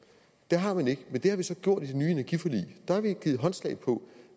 det har man ikke men det har vi så gjort i det nye energiforlig der har vi givet hinanden håndslag på